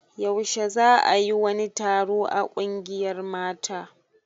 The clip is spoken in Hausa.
Yaushe za a yi wani taro a ƙungiyar mata?